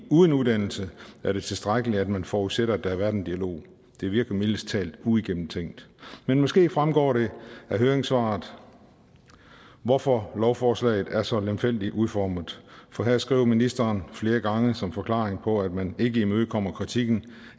uden uddannelse er det tilstrækkeligt at man forudsætter at der har været en dialog det virker mildest talt uigennemtænkt men måske fremgår det af høringssvaret hvorfor lovforslaget er så lemfældigt udformet for her skriver ministeren flere gange som forklaring på at man ikke imødekommer kritikken